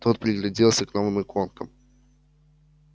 тот пригляделся к новым иконкам